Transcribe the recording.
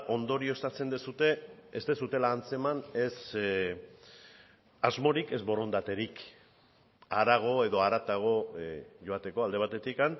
ondorioztatzen duzue ez duzuela antzeman ez asmorik ez borondaterik harago edo haratago joateko alde batetik